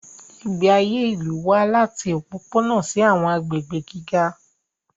Ìgbé ayé ìlú wà láti òpópónà sí àwọn agbègbè gíga.